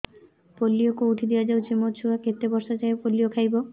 polio କେଉଁଠି ଦିଆଯାଉଛି ମୋ ଛୁଆ କେତେ ବର୍ଷ ଯାଏଁ ପୋଲିଓ ଖାଇବ